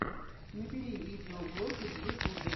набери видеоблоги в ютубе